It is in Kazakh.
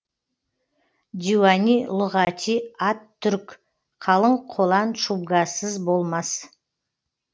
диуани лүғати ат түрк калын колан чубгасыз болмас